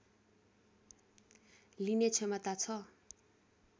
लिने क्षमता छ